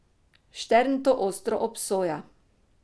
Štern to ostro obsoja.